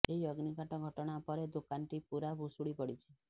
ଏହି ଅଗ୍ନିକାଣ୍ଡ ଘଟଣା ପରେ ଦୋକାନଟି ପୂରା ଭୁଶୁଡ଼ି ପଡ଼ିଛି